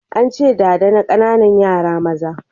An ce, ɗada na ƙananan yara maza